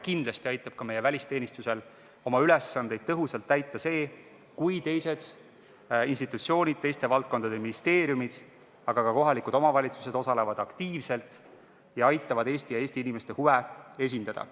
Kindlasti aitab ka meie välisteenistusel oma ülesandeid tõhusalt täita see, kui teised institutsioonid, teiste valdkondade ministeeriumid, aga ka kohalikud omavalitsused osalevad selles tegevuses aktiivselt ja aitavad Eesti ja Eesti inimeste huve esindada.